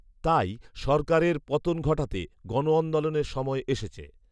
তাই, সরকারের পতন ঘটাতে গণআন্দোলনের সময় এসেছে